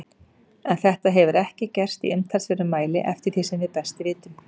En þetta hefur ekki gerst í umtalsverðum mæli eftir því sem við best vitum.